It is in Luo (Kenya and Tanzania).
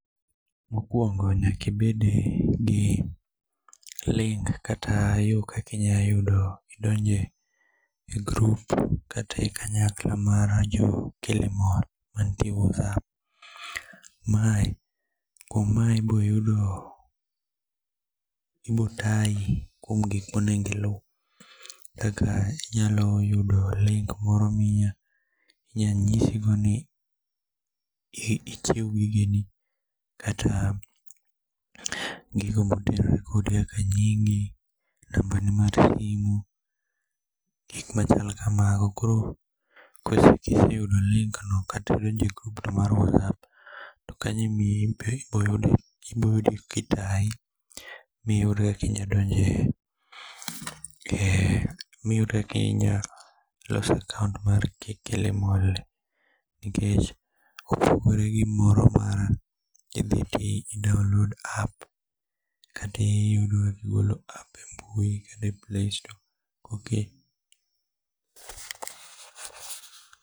Mokuongo nyaka ibed gi link kata yoo kakinyayudo kakinyadonje group kata ikanyakla mar jo Kilimall mantie e whats app. Kuom mae iboyudo kendo ibotayi kuom gikmonego iluu kaka inyalo yudo link moro minyanyisigo kaka ichiwo gigeni kata gigo mabiro kode kaka nyingi, nambani mar simu, gikmachal kamago koro kosetiekoyudo link no kata idonje group no mar whats app to kanyo iboyudo kitayi miyud kaka inyadonje ee, iyud kaka inyalo loso akaont mar Kilimall nikech kopogore gi moro ma kidhi download app kata igolo app ee mbui kata playstore.